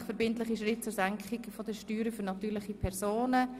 Endlich verbindliche Schritte zur Senkung der Steuern für natürliche Personen».